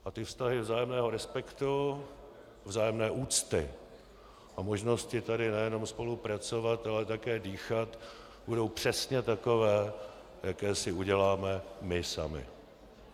A ty vztahy vzájemného respektu, vzájemné úcty a možnosti tady nejenom spolupracovat, ale také dýchat, budou přesně takové, jaké si uděláme my sami.